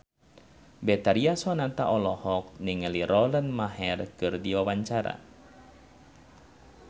Betharia Sonata olohok ningali Lauren Maher keur diwawancara